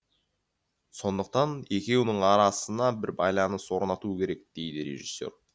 сондықтан екеуінің арасына бір байланыс орнату керек дейді режиссер